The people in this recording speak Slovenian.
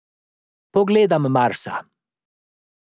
Pogledam Marsa.